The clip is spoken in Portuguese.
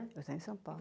Eu estava em São Paulo.